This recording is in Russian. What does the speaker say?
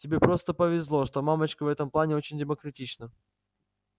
тебе просто повезло что мамочка в этом плане очень демократична